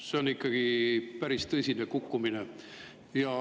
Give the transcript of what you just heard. See on ikkagi päris tõsine kukkumine.